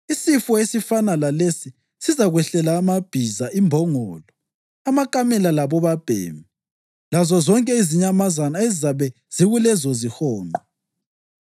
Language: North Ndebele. Isifo esifana lalesi sizakwehlela amabhiza, imbongolo, amakamela labobabhemi lazozonke izinyamazana ezizabe zikulezozihonqo.